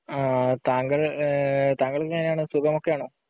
താങ്കള്‍, താങ്കള്‍ക്ക് എങ്ങനെയാണ്? സുഖമൊക്കെ ആണോ?